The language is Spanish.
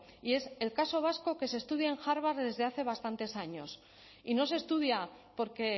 y es el caso vasco que se estudia en harvard desde hace bastantes años y no se estudia porque